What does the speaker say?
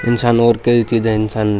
इंसान और कई चीजे इंसान --